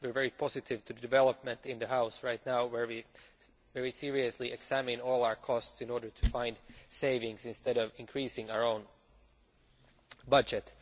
We are very positive with regard to the development in the House right now, where we seriously examine all our costs in order to find savings instead of increasing our own budget.